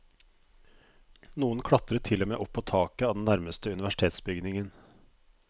Noen klatret til og med opp på taket av den nærmeste universitetsbygningen.